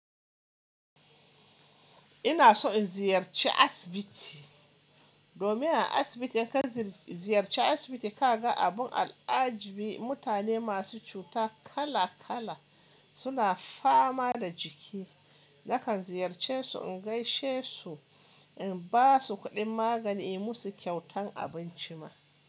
Ina so in ziyarci asibiti domin a asibiti in ka ziyarci asibiti ka ga abun al'ajabi mutane masu cuta kala kala suna fama da jiki. Nakan ziyarce su in gaishe su, in ba su kuɗin magani, inyi musu kyautan abinci ma.